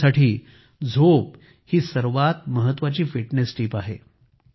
माझ्यासाठी झोप ही सर्वात महत्त्वाची फिटनेस टीप आहे